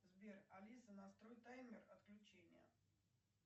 сбер алиса настрой таймер отключения